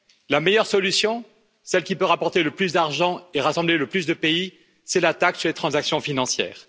La meilleure solution, celle qui peut rapporter le plus d'argent et rassembler le plus de pays, c'est la taxe sur les transactions financières.